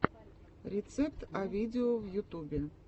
рецепт а видео в ютубе